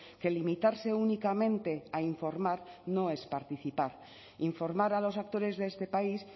que limitarse únicamente a informar no es participar informar a los actores de este país